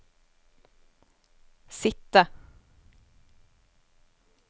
sitte